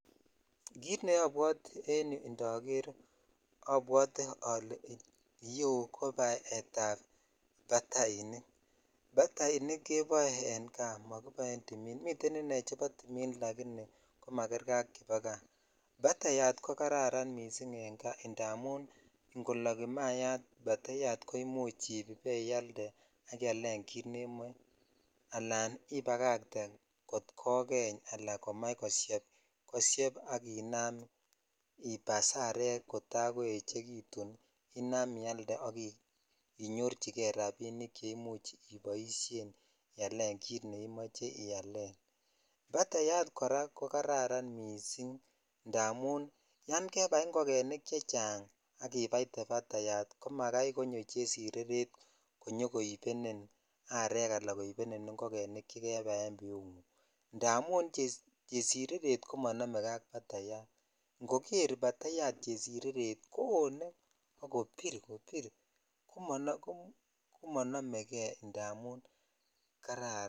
Kit neobwote en yuu indoker abwote ole iyeu ko baet ab batainik batainik keboe en kaa mokibo en timin miten inei chebo timin ko magerkei ak chubo kaa batayat ko kararan missing indamun ingolok imayat batayat imuch ibaialde ialen kit nemoe alan ibagatee kot kokeny ala komach kosheb koshep ak ibas arek kotaa koechekitun inam ialde ak inyorchikei rabinik che imuch iboishen ialen kit neimoche ialen kit neimochecbatayat koraa ko kararan missing indamun yan kebai ingogenik chechang ak ibaitee batayat ko makai konyo chesireret konyo koibenin arek ala koibenin ingogenik chekebai en biungung indamun cherireret ko monomekei ak batait ingoker batayat chesireret kooneak kobir kobir ko monomekei indamin kararan.